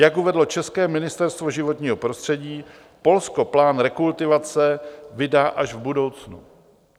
Jak uvedlo české Ministerstvo životního prostředí, Polsko plán rekultivace vydá až v budoucnu.